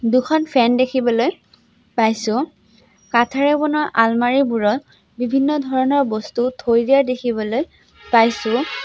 দুখন ফেন দেখিবলৈ পাইছোঁ কাঠেৰে বনোৱা আলমাৰিবোৰত বিভিন্ন ধৰণৰ বস্তু থৈ দিয়া দেখিবলৈ পাইছোঁ।